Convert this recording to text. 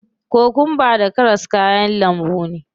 Kokwamba da karas kayan lambu ne.